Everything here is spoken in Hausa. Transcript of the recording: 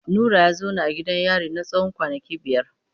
Nura ya zauna a gidan yari na tsawon kwanaki biyar.